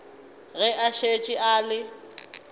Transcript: ge a šetše a le